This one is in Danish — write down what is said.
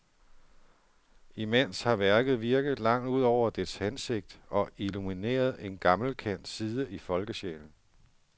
Imens har værket virket langt ud over dets hensigt og illumineret en gammelkendt side i folkesjælen.